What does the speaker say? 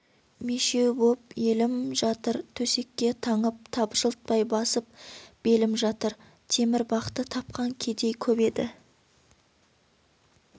мешеу боп елім жатыр төсекке таңып табжылтпай басып белім жатыр темір бақты тапқан кедей көп еді